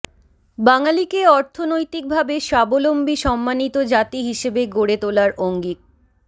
বাঙালিকে অর্থনৈতিকভাবে স্বাবলম্বী সম্মানিত জাতি হিসেবে গড়ে তোলার অঙ্গীক